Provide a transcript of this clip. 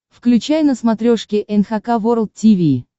включай на смотрешке эн эйч кей волд ти ви